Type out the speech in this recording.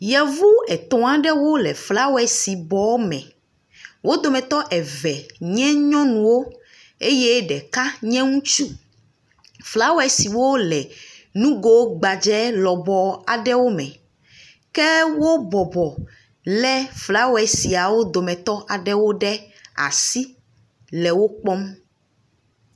Yevu etɔ̃ aɖewo le flawesi bɔme. Wo dometɔ eve nye nyɔnuwo eye ɖeka nye ŋutsu. Flawesiwo le nugo gbadze lɔbɔ aɖewo me. Ke wo bɔbɔ, lé flawesiawo dometɔ aɖewo ɖe asi le wo kpɔm.